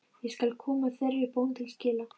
Ég skal koma þeirri bón til skila.